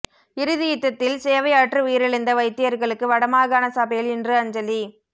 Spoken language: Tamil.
இறுதி யுத்தத்தில் சேவையாற்றி உயிரிழந்த வைத்தியர்களுக்கு வடமாகாண சபையில் இன்று அஞ்சலி